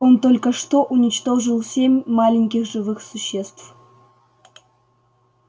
он только что уничтожил семь маленьких живых существ